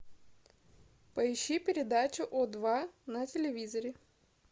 поищи передачу о два на телевизоре